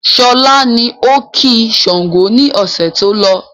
Sọlá ni ó ki Sángo ni ọ̀sẹ̀ tó lọ.